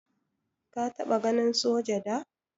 Ka taba ganin soja da?